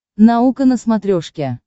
наука на смотрешке